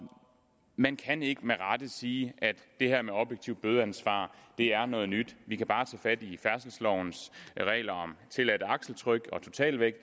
man kan ikke med rette sige at det her med objektivt bødeansvar er noget nyt vi kan jo bare tage fat i færdselslovens regler om tilladt akseltryk og totalvægt